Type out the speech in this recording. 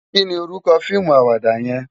Ki ni órúkò fiimú àwàdá yèn?